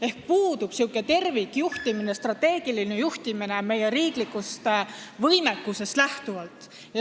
Ehk puudub tervikjuhtimine, strateegiline juhtimine meie riiklikust võimekusest lähtuvalt.